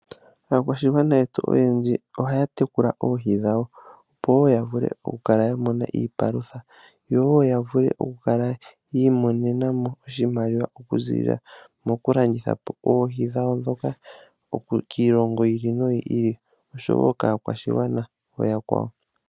Aakwashigwana yetu oyendji ohaya tekula oohi dhawo opo wo ya vule okukala ya mona iipalutha. Yo wo ya vule okukala yi imonena mo oshimaliwa. Okuziilila mokulanditha po oohi dhawo ndhoka kiilongo yi ili noyi ili osho wo kaakwashigana ooyakwawo.